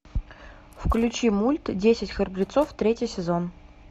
включи мульт десять храбрецов третий сезон